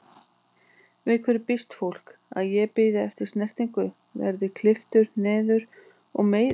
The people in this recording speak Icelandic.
Við hverju býst fólk, að ég bíði eftir snertingu, verð klipptur niður og meiðist?